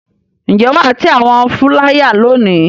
Ǹjẹ́ wà á tẹ àwọn fúláyà lónìí?